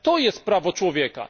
To jest prawo człowieka.